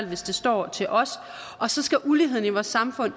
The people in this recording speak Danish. hvis det står til os og så skal uligheden i vores samfund